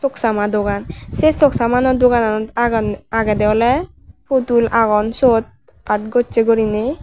soksama dogan se sogsomanono dogananot agon agede ole pudul agon siot aat gosse guriney.